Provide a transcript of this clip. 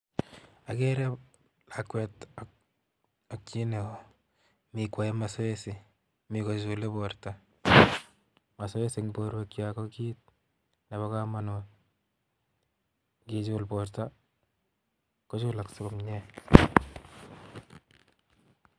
Agere lakwet ak um chii neo. Mii kwae mazoezi, mi kochule borto mazoezi eng' borwekyok ko kiiy nebo komonut. Ng'ichul borto, kochulaksei komyee